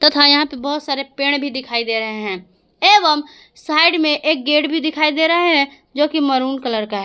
तथा यहां पे बहोत सारे पेड़ भी दिखाई दे रहे हैं एवं साइड में एक गेट भी दिखाई दे रहा है जो की मैरून कलर का है।